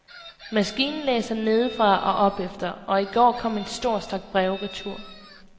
Maskinen læser nedefra og opefter, og i går kom en stor stak breve retur.